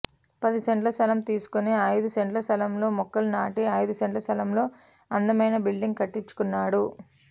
పది సెంట్ల స్థలం తీసుకుని అయిదు సెంట్ల స్థలంలో మొక్కలు నాటి అయిదు సెంట్ల స్థలంలో అందమైన బిల్డింగ్ కట్టించుకున్నాడు